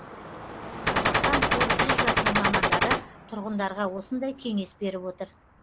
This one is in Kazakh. қазақстан қор биржасының мамандары тұрғындарға осындай кеңес беріп отыр